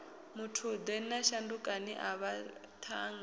muthude na shandukani avha vhathannga